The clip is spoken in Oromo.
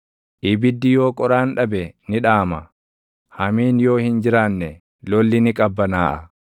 Ibiddi yoo qoraan dhabe ni dhaama; hamiin yoo hin jiraanne, lolli ni qabbanaaʼa.